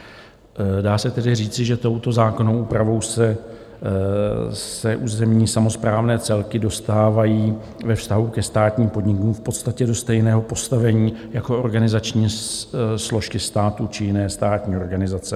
Dá se tedy říci, že touto zákonnou úpravou se územní samosprávné celky dostávají ve vztahu ke státním podnikům v podstatě do stejného postavení jako organizační složky státu či jiné státní organizace.